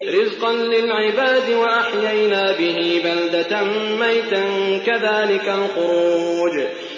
رِّزْقًا لِّلْعِبَادِ ۖ وَأَحْيَيْنَا بِهِ بَلْدَةً مَّيْتًا ۚ كَذَٰلِكَ الْخُرُوجُ